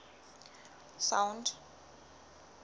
sound